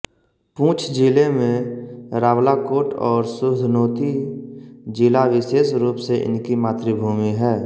पुंछ ज़िले में रावलाकोट और सुधनोती ज़िला विशेष रूप से इनकी मातृभूमि है